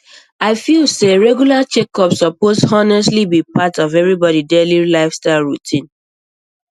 i feel say regular checkups suppose honestly be part of everybody daily lifestyle routine